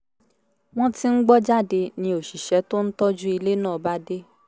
wọ́n ti ń gbọ́ jáde ni òṣìṣẹ́ tó ń tọ́jú ilé náà bá dé